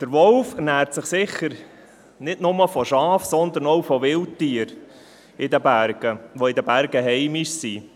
Der Wolf ernährt sich sicher nicht nur von Schafen, sondern auch von Wildtieren, die in den Bergen heimisch sind.